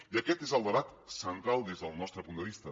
i aquest és el debat central des del nostre punt de vista